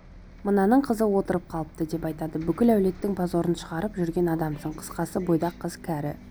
мынаның қызы отырып қалыпты деп айтады бүкіл әулеттің позорын шығарып жүрген адамсың қысқасы бойдақ қыз кәрі